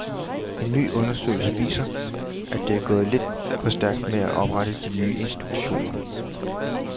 En ny undersøgelse viser, at det er gået lidt for stærkt med at oprette de nye institutioner.